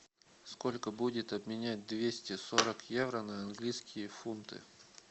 сколько будет обменять двести сорок евро на английские фунты